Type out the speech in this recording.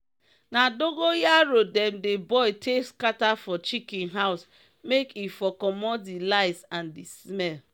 na dogon yaro dem dey boil take scatter for chicken house make e for commot d llice and d smell.